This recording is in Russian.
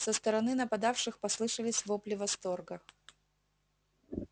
со стороны нападавших послышались вопли восторга